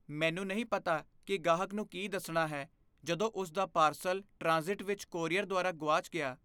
ਮੈਨੂੰ ਨਹੀਂ ਪਤਾ ਕਿ ਗਾਹਕ ਨੂੰ ਕੀ ਦੱਸਣਾ ਹੈ ਜਦੋਂ ਉਸਦਾ ਪਾਰਸਲ ਟ੍ਰਾਂਜ਼ਿਟ ਵਿੱਚ ਕੋਰੀਅਰ ਦੁਆਰਾ ਗੁਆਚ ਗਿਆ।